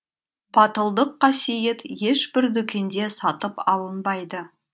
батылдық қасиет ешбір дүкенде сатып алынбайды